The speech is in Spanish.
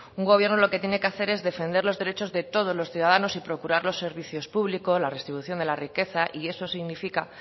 un gobierno lo que tiene que hacer es defender los derechos de todos los ciudadanos y procurar los servicios públicos la redistribución de la riqueza y eso significa